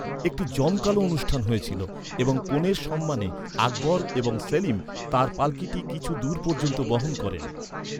একটি জমকালো অনুষ্ঠান হয়েছিল এবং কনের সম্মানে আকবর এবং সেলিম তাঁর পাল্কিটি কিছু দূর পর্যন্ত বহন করেন।